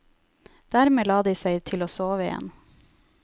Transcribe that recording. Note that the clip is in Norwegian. Dermed la de seg til å sove igjen.